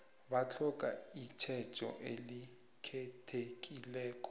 batlhoga itjhejo elikhethekileko